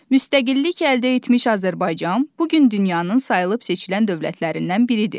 Müstəqillik əldə etmiş Azərbaycan bu gün dünyanın sayılıb seçilən dövlətlərindən biridir.